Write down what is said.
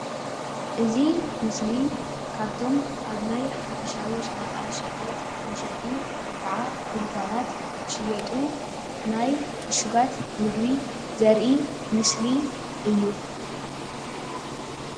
እዚ ምስሊ ካብቶም ኣብ ናይ ሓፈሻዊ ሸቀጣ ሸቀጣ መሸጢ ወይ ድንካናት ዝሽየጡ ናይ ዕሽጋት ምግቢ ዘርኢ ምስሊእዩ፡፡